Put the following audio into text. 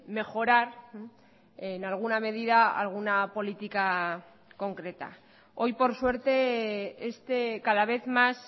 mejorar en alguna medida alguna política concreta hoy por suerte este cada vez más